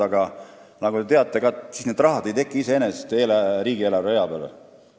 Aga nagu te teate, ei teki raha riigieelarve rea peale iseenesest.